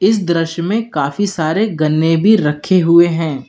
इस द्रश्य में काफी सारे गन्ने भी रखे हुए हैं।